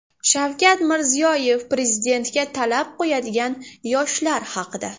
Shavkat Mirziyoyev Prezidentga talab qo‘yadigan yoshlar haqida.